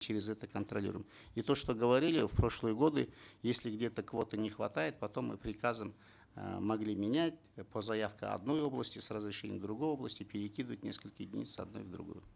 через это контролируем и то что говорили в прошлые годы если где то квоты не хватает потом мы приказом э могли менять по заявке одной области с разрешения другой области перекидывать несколько единиц с одной в другую